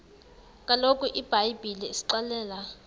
kaloku ibhayibhile isixelela